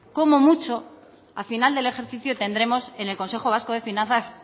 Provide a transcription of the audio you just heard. como mucho a final del ejercicio tendremos en el consejo vasco de finanzas